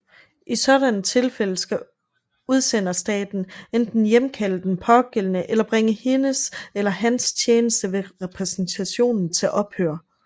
I sådanne tilfælde skal udsenderstaten enten hjemkalde den pågældende eller bringe hendes eller hans tjeneste ved repræsentationen til ophør